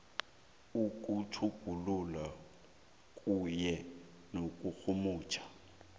ukutjhugulula kunye nokurhumutjha